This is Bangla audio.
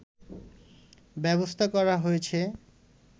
ব্যবস্থা করা হয়েছে